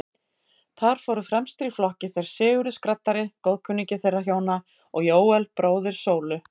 Þar fóru fremstir í flokki þeir Sigurður skraddari, góðkunningi þeirra hjóna, og Jóel, bróðir Sólu.